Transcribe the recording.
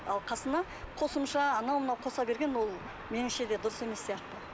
ал қасына қосымша анау мынау қоса берген ол меніңше де дұрыс емес сияқты